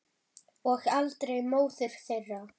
Og aldrei móður þeirra.